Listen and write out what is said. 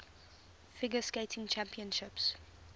figure skating championships